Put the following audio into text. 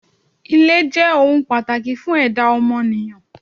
Ilé jé̩ ohun pàtàkì fún è̩dá o̩mo̩nìyàn.